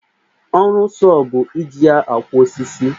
Ọrụ sọọ bụ iji ya akwọ osisi